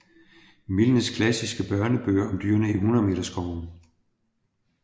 Milnes klassiske børnebøger om dyrene i Hundredmeterskoven